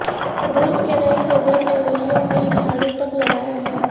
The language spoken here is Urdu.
روس کے نئے صدر نے گلیوں میں جھاڑو تک لگایا ہے